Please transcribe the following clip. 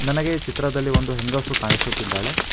ನನಗೆ ಚಿತ್ರದಲ್ಲಿ ಒಂದು ಹೆಂಗಸು ಕಾಣಿಸುತ್ತಿದ್ದಾಳೆ.